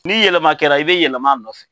Ni yɛlɛma kɛra i be yɛlɛma a nɔfɛ.